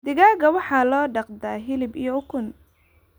Digaagga waxaa loo dhaqdaa hilib iyo ukun.